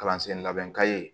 Kalansen labɛn ka ye